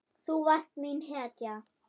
Þú varst mín hetja.